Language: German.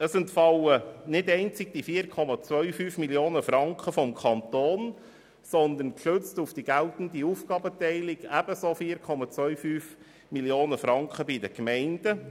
Es entfallen nicht nur die 4,25 Mio. Franken des Kantons, sondern, gestützt auf die Aufgabenteilung, ebenso 4,25 Mio. Franken bei den Gemeinden.